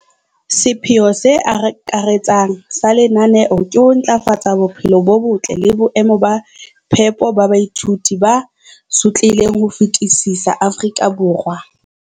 sepheo se akaretsang sa lenaneo ke ho ntlafatsa bophelo bo botle le boemo ba phepo ba baithuti ba sotlehileng ho fetisisa Afrika Borwa.